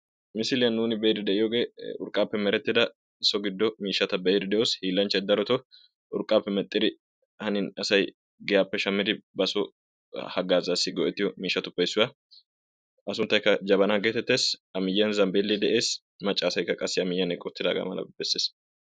Misiliyan nuni beidi deiyogee urqqape merettida so giddo miishshata beido deos. Hiillanchay daroto urqape medhdhidi hanin asaay giyape shamidi baso hagazasi goettiyo miishshape issuwa. A sunttayka Jabbana geetetees. A miiyiyan zambbele de'ees. Macca asaayka a miiyiyan eqqi uttidaga dbeesses.